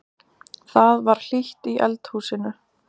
Það var hlýtt í eldhúsinu.